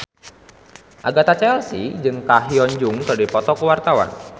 Agatha Chelsea jeung Ko Hyun Jung keur dipoto ku wartawan